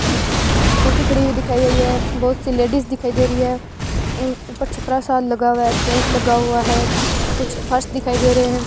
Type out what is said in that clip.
scooty खड़ी हुई दिखाई दे रही है बहुत सी लेडिस दिखाई दे रही है ऊपर छपरा सा लगा हुआ टेंट लगा हुआ है कुछ फर्श दिखाई दे रहे --